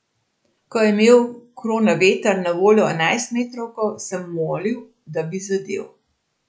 Ko je imel Kronaveter na voljo enajstmetrovko, sem molil, da bi zadel.